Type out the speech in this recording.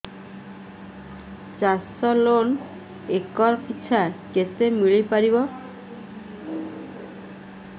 ଚାଷ loan acre ପିଛା କେତେ ମିଳି ପାରିବ